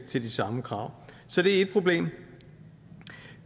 til de samme krav så det er ét problem